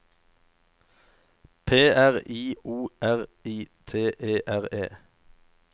P R I O R I T E R E